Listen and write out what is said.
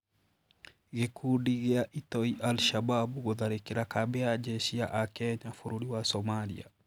Gĩkundi gĩa itoi al-Shabab gũtharĩkĩra kambĩ ya njeshi ya akenya bũrũri wa Somalia